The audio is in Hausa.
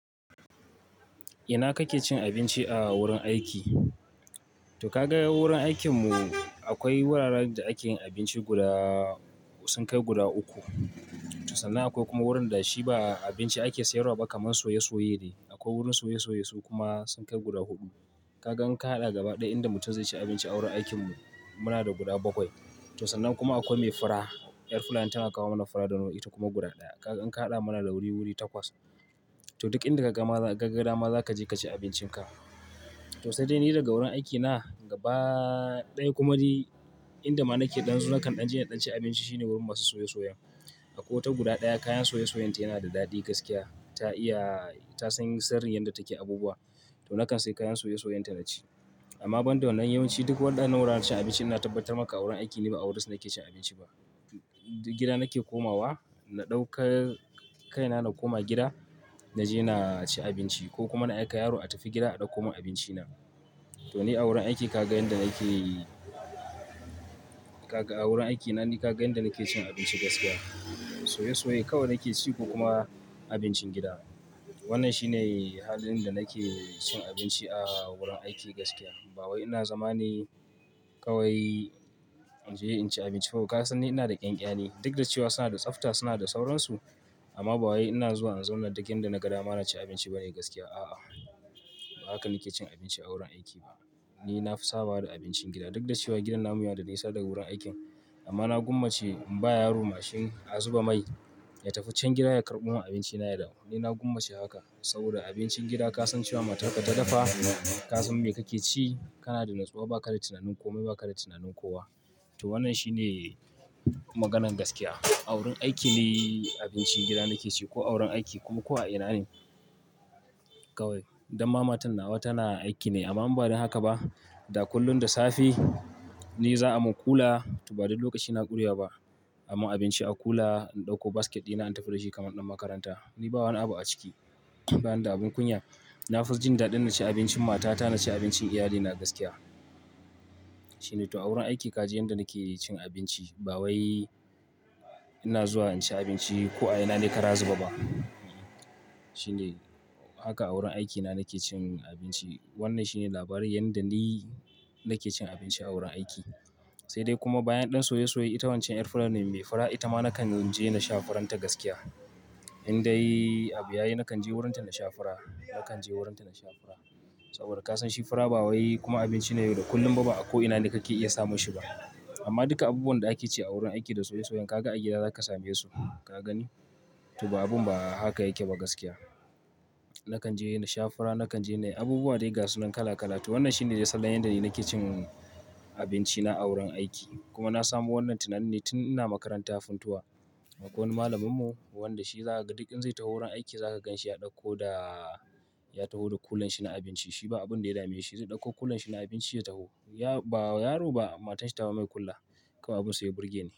Ina kake cin abinci a wurin aiki? To ka ga wurin aikin mu akwai wuraren da ake yin abinci guda, sun kai guda uku. To sannan akwai kuma wurin da shi ba abinci ake sayarwa ba kamar soya soye ne. A ko wurin soye-soyen su kuma sun kai guda uku. Kaga in ka haɗa gaba ɗaya inda mutum zai ci abinci a wurin aikin mu muna da guda bakwai. To sannan kuma akwai mai fura, ƴar fulani tana kawo mana fura da nama ita kuma guda ɗaya. Kaga in ka haɗa mana da wuri-wuri takwas. To duk inda kaga ma, ka ga gada ma za ka je ka ci abincin ka. To sai dai ni daga wurin aiki na gaba ɗaya kuma dai inda ma nake ɗan zu na kan ɗan je na ɗan ci abinci shine wurin masu soya soyan. A kotu guda ɗaya kayan soya soyayenta yana da daɗi gaskiya. Ta iya, ta san sirrin yadda take abubuwa. To na kan sayi kayan soya soyayenta na ci. Amma ban da wannan yawanci duk waɗannan wuraren cin abinci ina tabbatar maka a wurin aiki ni ba a wurin su nake cin abinci ba. Gida nake komawa, na ɗaukar kai na na koma gida na je na ci abinci ko kuma na aika yaro ya tafi gida a ɗauko mun abinci na. To ni a wurin aiki ka ga inda nake, ka ga a wurin aiki na ni ka ga inda nake cin abinci gaskiya. Soya soye kawai nake ci ko kuma abincin gida. Wannan shi ne halin da nake cin abinci a wurin aiki gaskiya. Bawai ina zama ne kawai in je in ci abinci fa ka san ni ina da ƙanƙani. Duk da cewa suna da tsafta suna da sauransu amma bawai ina zuwa in zauna duk inda na ga dama na ci abinci ba ne gaskiya a'a. Ba haka nake cin abinci a wurin aiki ba. Ni na fi saba da abincin gida duk da cewa gidan namu yana da nisa daga wurin aikin amma na gumma ce in ba yaro mashin a zuba mai ya tafi wancan gida ya karɓo mun abinci na ya dawo. Ni na gumma ce haka saboda abincin gida ka san cewa matar ka ta dafa, ka san me kake ci, kana da natsuwa ba ka da tunanin kome ba ka da tunanin kowa. To wannan shi ne maganan gaskiya. A wurin aiki ni abincin gida nake ci ko a wurin aiki kuma ko a ina ne kawai. Dan ma matan na a wa tana aiki ne amma ban da haka ba. Da kullun da safe ni za a mun kula, to ba duk lokaci na ƙuriya ba. A mun abinci a kula in ɗauko basket ɗina in tafi da shi kamar ɗan makaranta. Ni ba wani abu a ciki bayan da abun kunya. Na fi jin daɗin na ci abincin mata ta, na ci abincin iyali na gaskiya. Shine to a wurin aiki ka ji inda nake cin abinci. Bawai ina zuwa in ci abinci ko a ina ne ka razu ba ba. Shine haka a wurin aiki na nake cin abinci. Wannan shine labarin yadda ni nake cin abinci a wurin aiki. Sai dai kuma bayan ɗan soya soye ita wancan 'yar fulanen mai fura ita ma na kan in je na sha furanta gaskiya. In dai abu ya yi na kan je wurin ta na sha fura, na kan je wurin ta na sha fura. Saboda ka san shi fura ba wai kuma abinci ne da kullum a da ko ina kakai iya samun shi ba amma duka abubuwan da ake ci a wurin aiki da soya soya ka ga a gida za ka same su. Ka gani? To ba abun ba haka yake ba gaskiya. Na kan je na sha fura, na kan je na yi abubuwa dai gasu nan kala kala. To wannan shine sallah yadda ni nake cin abinci na a wurin aiki. Kuma na samu wannan tunan ni tun ina makarantar funtua. Akwai wani malamin mu wanda shi za ka ga duk in zai tafi wurin aiki za ka ganshi ya ɗauko da ya taho da kulan shi na abinci. Shi ba abun da ya dame shi zai dauko kulan shi na abinci ya taho Ya-- ba yaro ba matarshi ta wa mai kula. Kawai abun sai ya burge ni.